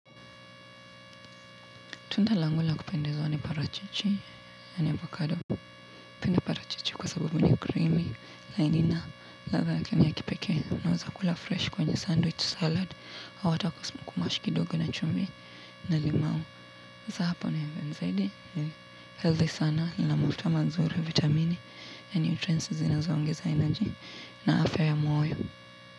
Tunda langu la kupendezwa ni parachichi na avocado. Napenda parachichi kwa sabubu ni creamy, na ina, ladha yake ya kipekee. Nawezakula fresh kwenye sandwich salad. Au hata kumash kidogo na chumvi na limau. Sasa hapo nimemsaidia. Healthy sana, ina mafuta mazuri, vitamini, na nutrients zinazoongeza energy na afya ya moyo.